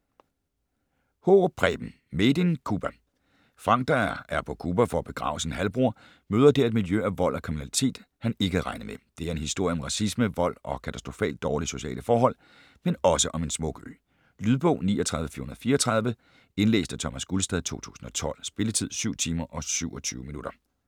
Haarup, Preben: Made in Cuba Frank, der er på Cuba for at begrave sin halvbror, møder der et miljø af vold og kriminalitet, han ikke havde regnet med. Det er en historie om racisme, vold og katastrofalt dårlige sociale forhold, men også om en smuk ø. Lydbog 39434 Indlæst af Thomas Gulstad, 2012. Spilletid: 7 timer, 27 minutter.